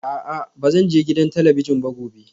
A'a ba zan je gidan talabijin ba gobe